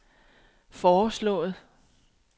foreslået